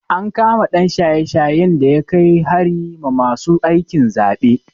An kama ɗan shaye-shayen da ya kai hari ma masu aikin zaɓen.